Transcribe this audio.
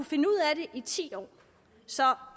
finde ud af det i ti år så